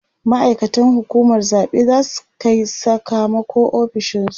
ma'aikatan hukumar zaɓe zasu Kai Saka mako ofishinsu